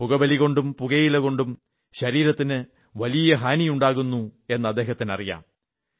പുകവലികൊണ്ടും പുകയില കൊണ്ടും ശരീരത്തിന് വലിയ ഹാനിയുണ്ടാകുന്നു എന്ന് അദ്ദേഹത്തിന് അറിയാം